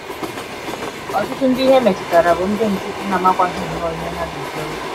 Ọtụtụ ndị ihe metụtara bụ ndị nkịtị na - amakwaghị nnọọ ihe ha ga - ekwere.